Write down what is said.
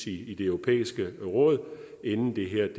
i det europæiske råd inden det her